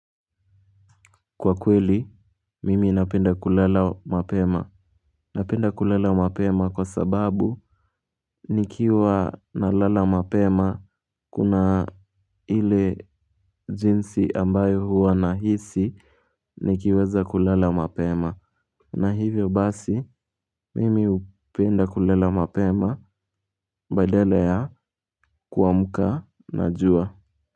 Kwa kweli mimi napenda kulala mapema. Napenda kulala mapema kwa sababu nikiwa nalala mapema. Kuna ile jinsi ambayo huwa nahisi nikiweza kulala mapema. Na hivyo basi mimi hupenda kulala mapema badala ya kuamka na jua.